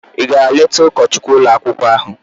Ị gara leta ụkọchukwu ụlọakwụkwọ ahụ?